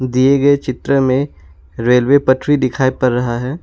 दिए गए चित्र में रेलवे पटरी दिखाई पड़ रहा है।